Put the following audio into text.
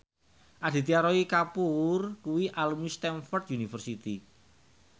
Aditya Roy Kapoor kuwi alumni Stamford University